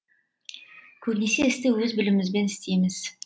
көбінесе істі өз білімімізбен істейміз